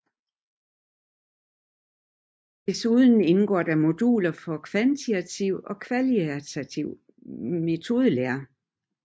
Desuden indgår der moduler for kvantitativ og kvalitativ metodelære